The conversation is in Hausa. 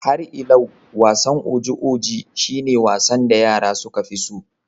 Har ilau, wasan oji oji shi ne wasan da yara suka fi so